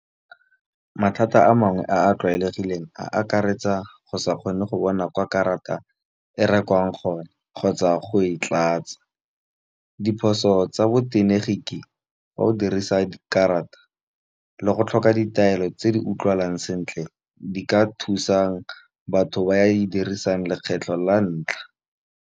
Mathata a mangwe a a tlwaelegileng, a akaretsa go sa kgone go bona kwa karata e rekwang gone kgotsa go e tlatsa. Diphoso tsa bo tegeniki ga o dirisa dikarata, le go tlhoka ditaelo tse di utlwalang sentle, di ka thusang batho ba di dirisang lekgetlho la ntlha.